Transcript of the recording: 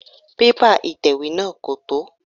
Pépà ìtẹ̀wé náà kò tó.